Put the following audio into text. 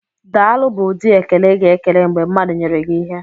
"Daalụ" bụ ụdị ekele ịga ekele mgbe mmadụ nyere gi ịhe.